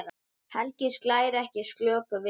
Helgi slær ekki slöku við.